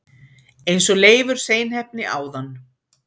eins og Leifur seinheppni áðan!